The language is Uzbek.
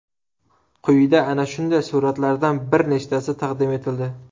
Quyida ana shunday suratlardan bir nechtasi taqdim etildi.